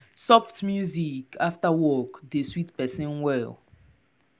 soft music after work dey sweet person well.